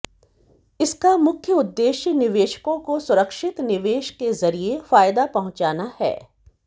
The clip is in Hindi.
इसका मुख्य उदेश्य निवेशकों को सुरक्षित निवेश के जरिए फायदा पहुंचाना है